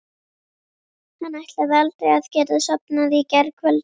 Hann ætlaði aldrei að geta sofnað í gærkvöldi.